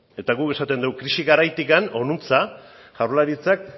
eta guk esaten dugu krisi garaitik honuntza jaurlaritzak